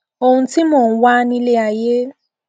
ohun tí mò ń wá nílé ayé